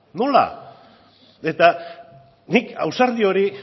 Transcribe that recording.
nola eta nik ausardi hori